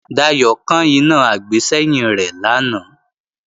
Dayò kán iná àgbésẹ́yìn rẹ̀ lánàá